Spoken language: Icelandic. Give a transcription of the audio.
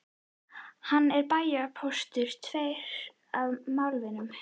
Hann er bæjarpóstur, tveir af málvinum